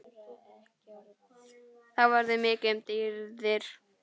Þá verður mikið um dýrðir